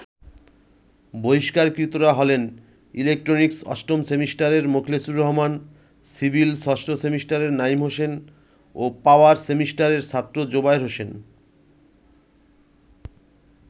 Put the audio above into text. বহিষ্কারকৃতরা হলেন- ইলেকট্রনিক্স অষ্টম সেমিস্টারের মোখলেচুর রহমান, সিভিল ষষ্ঠ সেমিস্টারের নাঈম হোসেন ও পাওয়ার সেমিস্টারের ছাত্র জোবায়ের হোসেন।